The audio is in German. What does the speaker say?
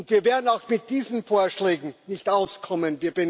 Wir werden auch mit diesen Vorschlägen nicht auskommen.